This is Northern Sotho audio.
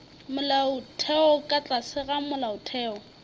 molaotheo ka tlase ga molaotheo